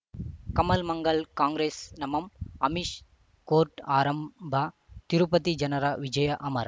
ಕಮಲ್ ಮಂಗಳ್ ಕಾಂಗ್ರೆಸ್ ನಮಃ ಅಮಿಷ್ ಕೋರ್ಟ್ ಆರಂಭ ತಿರುಪತಿ ಜನರ ವಿಜಯ ಅಮರ್